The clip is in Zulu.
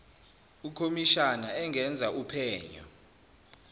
ukhomishani engenza uphenyo